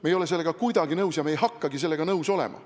Me ei ole sellega kuidagi nõus ja me ei hakkagi sellega nõus olema.